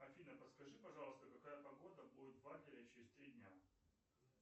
афина подскажи пожалуйста какая погода будет в адлере через три дня